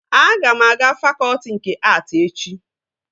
Aga m aga fakọtị nke att echi